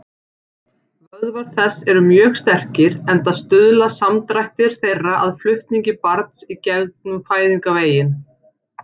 Vöðvar þess eru mjög sterkir, enda stuðla samdrættir þeirra að flutningi barns í gegnum fæðingarveginn.